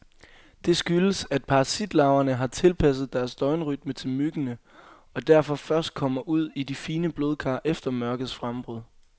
Det skyldes, at parasitlarverne har tilpasset deres døgnrytme til myggene, og derfor først kommer ud i de fine blodkar efter mørkets frembrud.